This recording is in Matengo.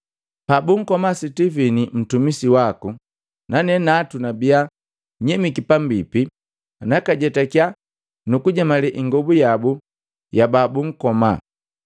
Pabunkoma Sitivini ntumisi waku, nane natu nabia nyemiki pambipi, nakajetakya, nukujemale ingobu yabu ya babunkoma.’